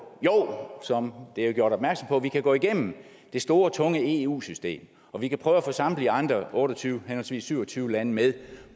jo som der er gjort opmærksom på kan vi gå igennem det store tunge eu system og vi kan prøve at få samtlige andre otte og tyve henholdsvis syv og tyve lande med